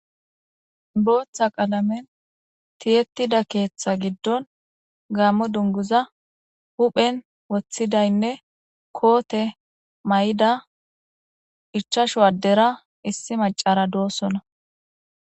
booththa qalamen tiyettida keeththa giddon gaammo dunguza huphen woththidaynne koote may7ida ichashu waddera issi macara doossona